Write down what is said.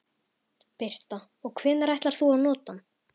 Birta: Og hvenær ætlar þú að nota hann?